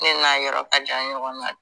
Ne n'a yɔrɔ ka jan ɲɔgɔn na